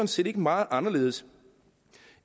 set ikke meget anderledes